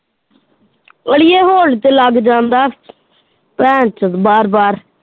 ਅੜੀਏ hold ਤੇ ਲੱਗ ਜਾਂਦਾ ਬਾਰ ਬਾਰ।